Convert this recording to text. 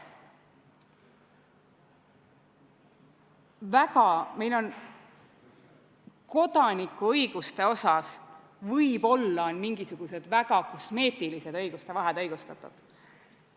Võib-olla on meil kodanikuõiguste osas mingisugused väga kosmeetilised õiguste vahed õigustatud.